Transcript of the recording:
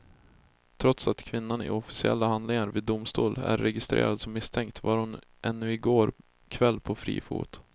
Trots att kvinnan i officiella handlingar vid domstol är registrerad som misstänkt var hon ännu i går kväll på fri fot.